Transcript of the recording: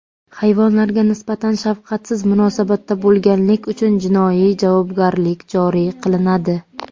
Hayvonlarga nisbatan shafqatsiz munosabatda bo‘lganlik uchun jinoiy javobgarlik joriy qilinadi.